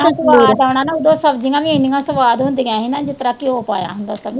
ਇਹਨਾਂ ਸਵਾਦ ਆਉਣਾ ਨਾ ਓਦੋ ਸਬਜ਼ੀਆਂ ਵੀ ਇੰਨੀਆਂ ਸਵਾਦ ਹੁੰਦੀਆਂ ਹੀ ਨਾ ਜਿਸਤਰਾਂ ਘਿਓ ਪਾਇਆ ਹੁੰਦਾ।